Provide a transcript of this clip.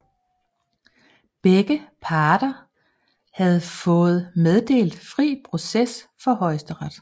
Begge parter havde fået meddelt fri proces for Højesteret